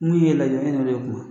N'u y'e lajɛ e ni olu ye kuma